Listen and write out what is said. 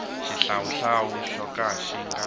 xihlawuhlawu xo ka xi nga